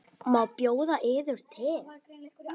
Má bjóða yður te?